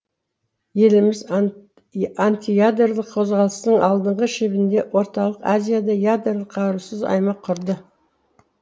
еліміз антиядролық қозғалыстың алдыңғы шебінде орталық азияда ядролық қарусыз аймақ құрды